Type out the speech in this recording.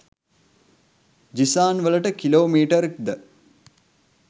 ජිසාන් වලට කිලෝමීටර්ක්ද